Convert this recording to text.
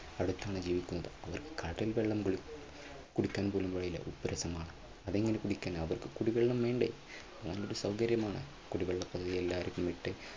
അടുത്താണ് ജീവിക്കുന്നത് അപ്പോൾ കടൽ വെള്ളം പോലും കുടിക്കാൻ പോലും കഴിയില്ല ഉപ്പ് രസമാണ് അതെങ്ങനെ കുടിക്കാനാകും കുടിവെള്ളം വേണ്ടേ എന്ത് സൗകര്യമാണ്